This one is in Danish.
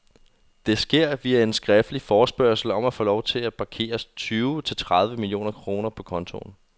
Det sker via en skriftlig forespørgsel om at få lov til at parkere tyve til tredive millioner kroner på kontoen.